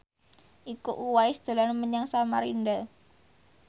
Iko Uwais dolan menyang Samarinda